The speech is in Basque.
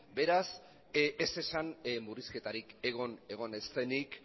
beraz ez esan murrizketarik egon ez denik